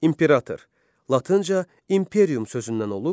İmperator, latınca imperium sözündən.